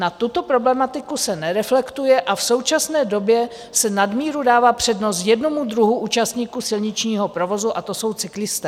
Na tuto problematiku se nereflektuje a v současné době se nadmíru dává přednost jednomu druhu účastníků silničního provozu, a to jsou cyklisté.